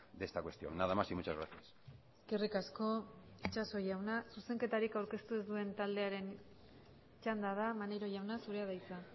de esta cuestión nada más y muchas gracias eskerrik asko itxaso jauna zuzenketarik aurkeztu ez duen taldearen txanda da maneiro jauna zurea da hitza